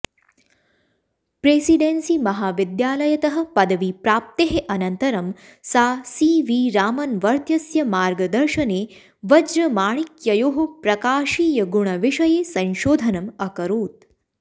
प्रेसिडेन्सिमहाविद्यालयतः पदवीप्राप्तेः अनन्तरं सा सि वि रामन्वर्त्यस्य मार्गदर्शने वज्रमाणिक्ययोः प्रकाशीयगुणविषये संशोधनम् अकरोत्